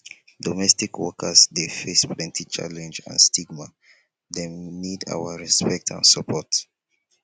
domestic workers dey face plenty challenge and stigma dem need our respect and support